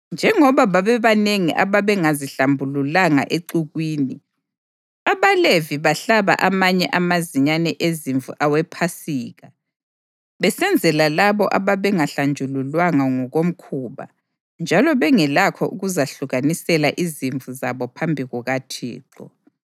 Njengoba babebanengi ababengazihlambululanga exukwini, abaLevi bahlaba amanye amazinyane ezimvu awePhasika besenzela labo ababengahlanjululwanga ngokomkhuba njalo bengelakho ukuzahlukanisela izimvu zabo phambi kukaThixo.